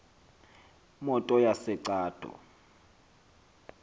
motors yase cato